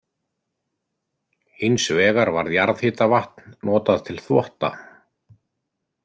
Hins vegar var jarðhitavatn notað til þvotta.